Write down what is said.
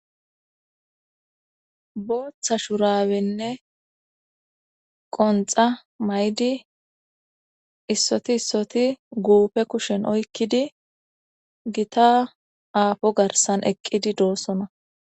booththa shurabenne qonxa maydi issoti issoti guupe kushen oykkidi gita aafo garsan eqqidi doossona